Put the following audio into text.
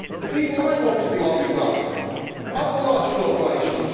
The people I want to be lobbied by are not the large corporations.